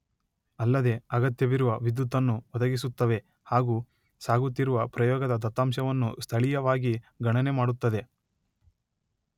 ಅಲ್ಲದೇ ಅಗತ್ಯವಿರುವ ವಿದ್ಯುತ್ ಅನ್ನು ಒದಗಿಸುತ್ತವೆ ಹಾಗು ಸಾಗುತ್ತಿರುವ ಪ್ರಯೋಗದ ದತ್ತಾಂಶವನ್ನು ಸ್ಥಳೀಯವಾಗಿ ಗಣನೆ ಮಾಡುತ್ತದೆ